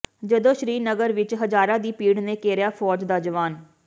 ਜਦੋਂ ਸ਼੍ਰੀ ਨਗਰ ਵਿਚ ਹਜ਼ਾਰਾਂ ਦੀ ਭੀੜ ਨੇ ਘੇਰਿਆ ਫੌਜ ਦਾ ਜਵਾਨ